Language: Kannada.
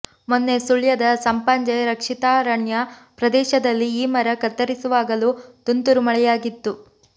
ಮೊನ್ನೆ ಸುಳ್ಯದ ಸಂಪಾಜೆ ರಕ್ಷಿತಾರಣ್ಯ ಪ್ರದೇಶದಲ್ಲಿ ಈ ಮರ ಕತ್ತರಿಸುವಾಗಲೂ ತುಂತುರು ಮಳೆಯಾಗಿತ್ತು